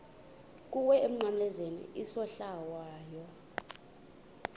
kuwe emnqamlezweni isohlwayo